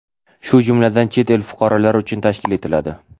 shu jumladan chet el fuqarolari uchun tashkil etiladi.